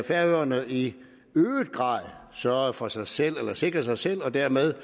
færøerne i øget grad sørgede for sig selv eller sikrede sig selv og dermed